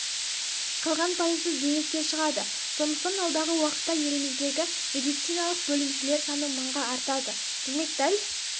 қалған пайызы зейнетке шығады сондықтан алдағы уақытта еліміздегі медициналық бөлімшелер саны мыңға артады демек дәл